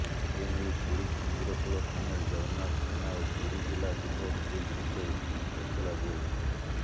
ଏନେଇ ପୁରୀ ସମୁଦ୍ରକୂଳ ଥାନାରେ ଜଗନ୍ନାଥ ସେନା ଓ ପୁରୀ ଜିଲ୍ଲା ଯୁବ ବିଜେପି ପକ୍ଷରୁ ଏତଲା ଦିଆଯାଇଥିଲା